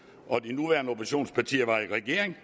og de nuværende oppositionspartier var i regering